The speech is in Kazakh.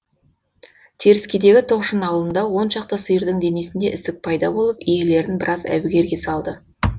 теріскейдегі тоқшын ауылында он шақты сиырдың денесінде ісік пайда болып иелерін біраз әбігерге салды